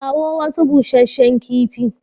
Kawo wasu bushshen kifi.